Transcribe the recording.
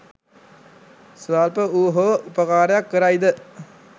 ස්වල්ප වූ හෝ උපකාරයක් කරයි ද?